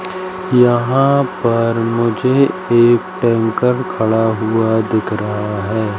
यहां पर मुझे एक टैंकर खड़ा हुआ दिख रहा हैं।